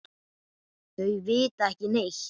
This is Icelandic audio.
Þau vita ekki neitt.